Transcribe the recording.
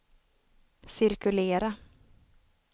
cirkulera